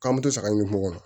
K'an me to saga ɲini mɔgɔw kɔnɔ